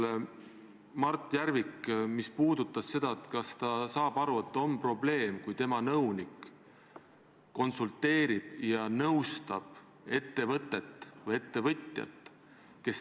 Aga kindlasti ei saa ma kuidagi nõustuda väitega, et Eestis on 300 000 elanikku, kes on tiblad, nagu te ütlesite, või sellega, et keegi on inimrämps.